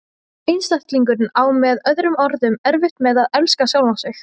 Einstaklingurinn á með öðrum orðum erfitt með að elska sjálfan sig.